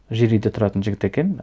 жер үйде тұратын жігіт екен